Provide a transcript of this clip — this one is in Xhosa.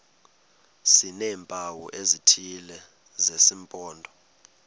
sineempawu ezithile zesimpondo